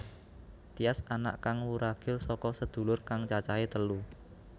Tyas anak kang wuragil saka sedulur kang cacahe telu